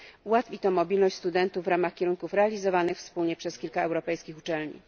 Ułatwi to mobilność studentów w ramach kierunków realizowanych wspólnie przez kilka europejskich uczelni.